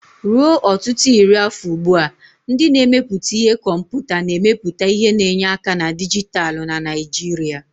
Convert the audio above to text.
Ruo ọtụtụ iri afọ ugbu a, ndị na-emepụta ihe komputa na-emepụta ihe na enye aka na dijitalụ na Naijiria.